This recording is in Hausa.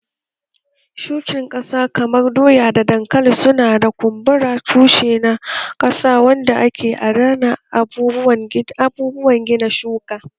Shukin ƙasa kamar doya da dankali su na kumbura tushe na ƙasa wanda ke adana abubuwan gina shuka